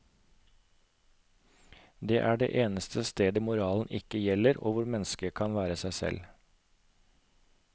Det er det eneste stedet moralen ikke gjelder og hvor mennesket kan være seg selv.